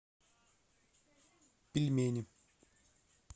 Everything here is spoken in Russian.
пельмени